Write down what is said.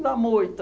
na moita.